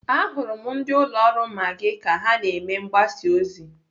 Ahụrụ m ndị ụlọ ọrụ Maggi ka ha na-eme mgbasa ozi.